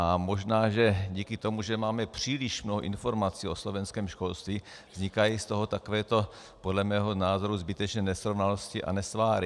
A možná že díky tomu, že máme příliš mnoho informací o slovenském školství, vznikají z toho takovéto podle mého názoru zbytečné nesrovnalosti a nesváry.